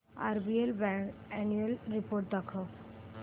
RBL bank annual report दाखव